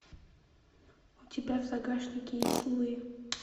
у тебя в загашнике есть луи